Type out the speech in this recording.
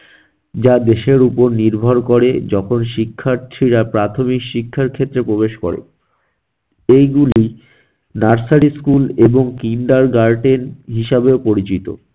যা দেশের উপর নির্ভর করে যখন শিক্ষার্থীরা প্রাথমিক শিক্ষার ক্ষেত্রে প্রবেশ করে এইগুলি nursery school এবং kindergarten হিসেবেও পরিচিত।